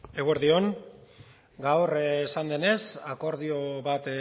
eguerdi on gaur esan denez akordio bat